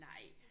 Nej